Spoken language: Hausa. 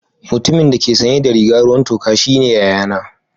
Mutumin da ke sanye da riga ruwan toka shine yayana.